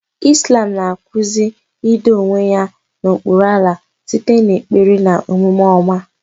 Islam na-akụzi ido onwe ya n'okpuru Allah site n'ekpere na omume ọma.